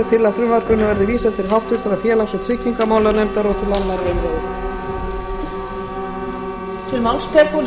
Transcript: að frumvarpinu verði vísað til háttvirtrar félags og tryggingamálanefndar og til annarrar umræðu